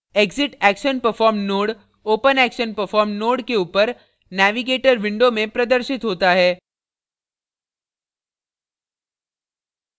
exitactionperformed node openactionperformed node के ऊपर navigator window में प्रदर्शित होता है